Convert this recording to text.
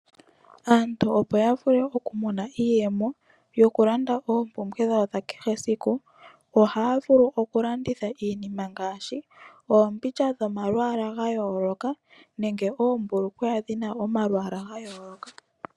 Aantu opo ya vule oku mona iiyemo yoku landa oompumbwe dhawo dha kehe esiku, ohaya vulu oku landitha iinima ngaashi oombilya dhomalwaala ga yooloka nenge oombulukweya dhi na omalwaala ga yooloka.